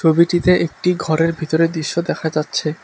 ছবিটিতে একটি ঘরের ভিতরের দৃশ্য দেখা যাচ্ছে।